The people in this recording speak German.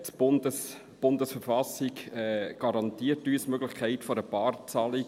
Die Bundesverfassung garantiert uns die Möglichkeit einer Barzahlung.